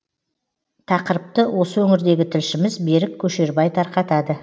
тақырыпты осы өңірдегі тілшіміз берік көшербай тарқатады